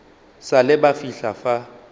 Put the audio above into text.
sa le ba fihla fa